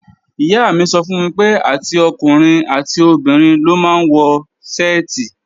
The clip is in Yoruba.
Ìyá mi sọ fún mi pé, àti ọkùnrin àti obìnrin ló máa ń wọ ṣẹ́ẹ̀tì